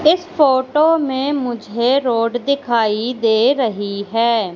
इस फोटो में मुझे रोड दिखाई दे रही हैं।